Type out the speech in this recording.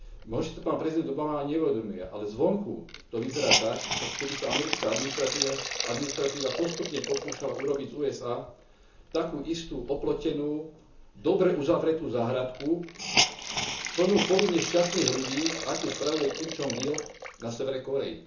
Možno si to pán prezident Obama ani neuvedomuje, ale zvonku to vyzerá tak, ako keby sa americká administratíva postupne pokúšala urobiť z USA takú istú oplotenú, dobre uzavretú záhradku, plnú povinne šťastných ľudí, akú spravuje Kim Jong il na severe Kórey.